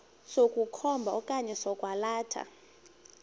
sokukhomba okanye sokwalatha